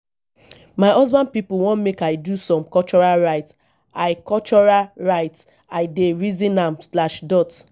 my husband pipo wan make i do some cultural rituals i cultural rituals i dey reason am slash dot